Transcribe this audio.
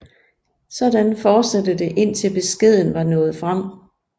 Sådan fortsatte det indtil beskeden var nået frem